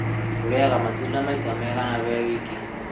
rĩaga matunda maita maigana harĩ wiki?